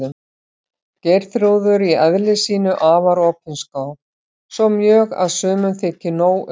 Geirþrúður í eðli sínu afar opinská, svo mjög að sumum þykir nóg um.